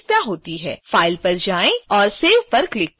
file पर जाएँ और save पर क्लिक करें